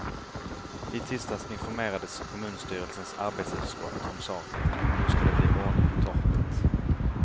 I tisdags informerades kommunstyrelsens arbetsutskott om saken och nu skall det bli ordning på torpet.